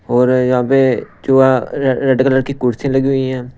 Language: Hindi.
और यहां पे जो रेड कलर की कुर्सी लगी हुई हैं।